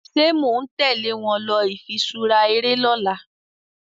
ṣe món tèlé wón ló ifiṣura eré lỌ̀la?